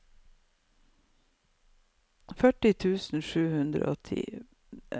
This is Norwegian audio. førtitre tusen sju hundre og ti